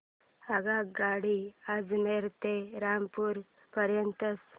आगगाडी अजमेर ते रामपूर पर्यंत